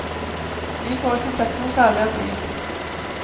Vi får ikke sett noe særlig av byen.